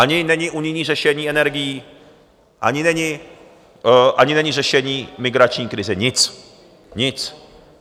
Ani není unijní řešení energií, ani není řešení migrační krize, nic, nic.